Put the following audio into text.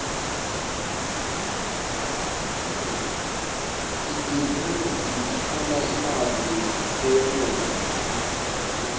ibhizinisi ifuna imali leyenele